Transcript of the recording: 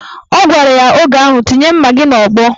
Ọ gwara ya oge ahụ "Tinye mma gị n'ọgbọ"